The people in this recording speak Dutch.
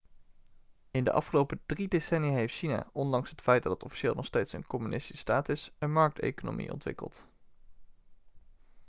in de afgelopen drie decennia heeft china ondanks het feit dat het officieel nog steeds een communistische staat is een markteconomie ontwikkeld